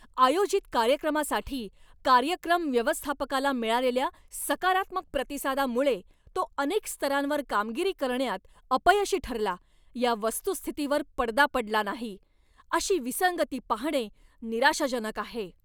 आयोजित कार्यक्रमासाठी कार्यक्रम व्यवस्थापकाला मिळालेल्या सकारात्मक प्रतिसादामुळे तो अनेक स्तरांवर कामगिरी करण्यात अपयशी ठरला या वस्तुस्थितीवर पडदा पडला नाही. अशी विसंगती पाहणे निराशाजनक आहे.